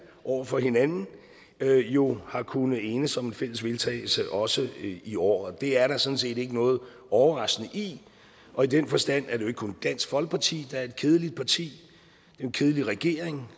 over for hinanden jo har kunnet enes om en fælles vedtagelse også i år og det er der sådan set ikke noget overraskende i og i den forstand er det kun dansk folkeparti der er et kedeligt parti en kedelig regering